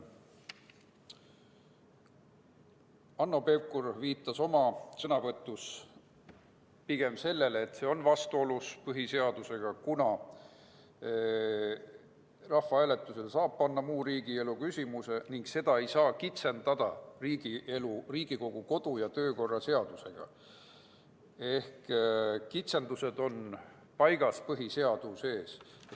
Hanno Pevkur viitas oma sõnavõtus sellele, et eelnõu pigem on põhiseadusega vastuolus, kuna rahvahääletusele saab panna muu riigielu küsimuse ning seda ei saa kitsendada Riigikogu kodu- ja töökorra seadusega, sest kitsendused on paigas põhiseaduses.